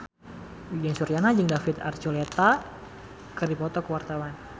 Uyan Suryana jeung David Archuletta keur dipoto ku wartawan